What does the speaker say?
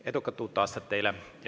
Edukat uut aastat teile!